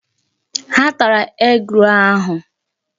Ha tara egg-roll ahụ.